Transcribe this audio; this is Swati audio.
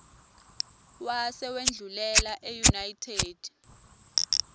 wase wendlulela eunited